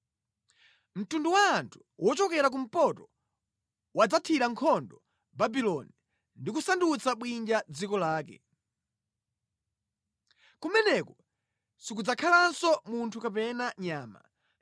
Mtundu wa anthu wochokera kumpoto wadzathira nkhondo Babuloni ndi kusandutsa bwinja dziko lake. Kumeneko sikudzakhalanso munthu kapena nyama.